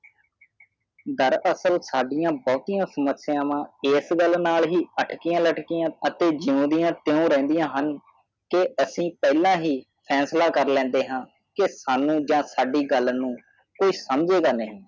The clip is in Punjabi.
ਡਰ ਅਸਲ ਸਾਡੀਆਂ ਬਹੁਤੀਆਂ ਸਮਸਿਆਵਾਂ ਇਸ ਗੱਲ ਨਾਲ ਹੀ ਅਕਟਿਆਂ ਲਟਕਿਆ ਅਤੇ ਜਿਉਂਦਿਆਂ ਤਿਉਂ ਰਹਦੀਆਂ ਹਨ ਅਸੀ ਪਹਲਾ ਹੀ ਫੈਸਲਾ ਕਰ ਲੈਣੇ ਸਾਨੂਜਾ ਸਾਡੀ ਗੱਲ ਨੂੰ ਸਮਝੇਗਾ ਨਹੀਂ